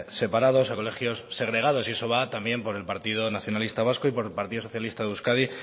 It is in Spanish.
separados o colegios segregados y eso va también por el partido nacionalista vasco y por el partido socialista de euskadi